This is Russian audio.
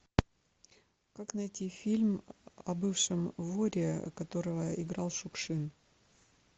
как найти фильм о бывшем воре которого играл шукшин